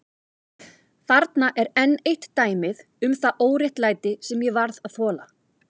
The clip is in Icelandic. Þarna er enn eitt dæmið um það óréttlæti sem ég varð að þola.